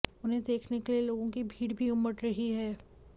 उन्हें देखने के लिए लोगों की भीड़ भी उमड़ रही है